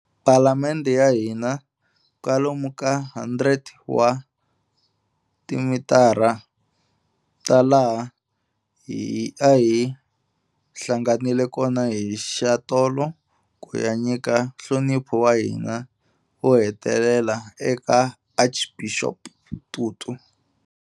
Palamende ya hina, kwalomu ka 100 wa timitara ta laha a hi hlanganile kona hi xatolo ku ya nyika nhlonipho wa hina wo hetelela eka Archbishop Tutu.